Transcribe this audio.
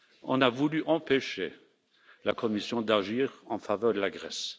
On a voulu empêcher la Commission d'agir en faveur de la Grèce.